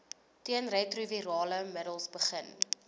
teenretrovirale middels begin